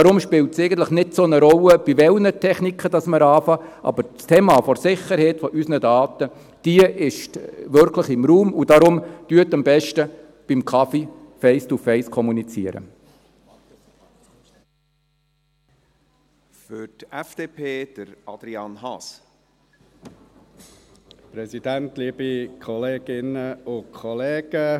Deshalb spielt es eigentlich keine so grosse Rolle, bei welchen Techniken wir anfangen, aber das Thema der Sicherheit unserer Daten ist wirklich im Raum, und darum: Kommunizieren Sie doch am besten «face to face» bei einem Kaffee.